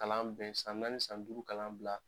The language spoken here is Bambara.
Kalan bɛ san naani san duuru kalan bila